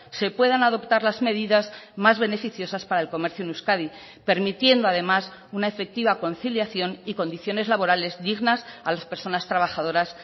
se puedan adoptar las medidas más beneficiosas para el comercio en euskadi permitiendo además una efectiva conciliación y condiciones laborales dignas a las personas trabajadoras